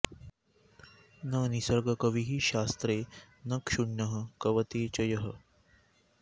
न निसर्गकविः शास्त्रे न क्षुण्णः कवते च यः